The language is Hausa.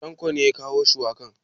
Tanko ne ya kawo shuwakan?